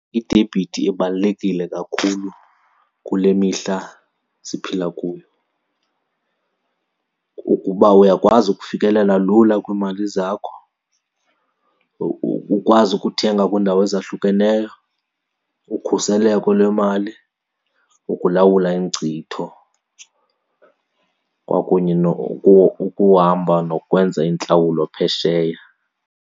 Idebhithi ibalulekile kakhulu kule mihla siphila kuyo. Kukuba uyakwazi ukufikelela lula kwiimali zakho, ukwazi ukuthenga kwiindawo ezahlukeneyo, ukhuseleko lwemali, ukulawula iinkcitho kwakunye ukuhamba nokwenza intlawulo phesheya.